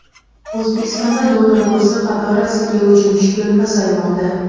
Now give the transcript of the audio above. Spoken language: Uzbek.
O‘zbekistonda dollar kursi qatorasiga uchinchi kun pasaymoqda.